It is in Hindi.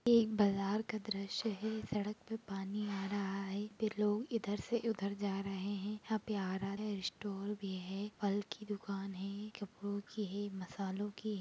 एक बाजार का दृश्य है सड़क पर पानी आ रहा है फिर लोग इधर से उधर जा रहे है एक प्यारा सा स्टॉल भी है फल की दुकान है कपड़ो की है मसलो की ----